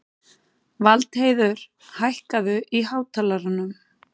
Valdheiður, hækkaðu í hátalaranum.